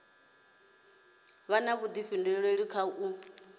vha na vhudifhinduleli kha u